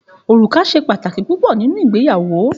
Òrùka ṣe pàtàkì púpọ nínú ìgbéyàwó